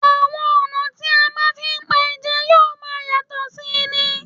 Àwọn ọ̀nà tí a fi ń pa ẹja yóò máa yàtọ̀ sí i ni